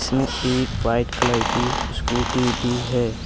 इसमें एक white colour की स्कूटी भी है।